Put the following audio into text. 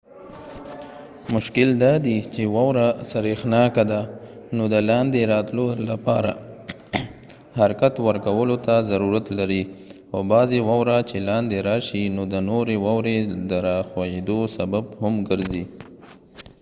مشکل دادی چې واوره سریښناکه ده نو د لاندې راتلو لپاره حرکت ورکولو ته ضرورت لري او بعضې واوره چې لاندې راشي نو د نورې واورې د راښویدو سبب هم ګرځې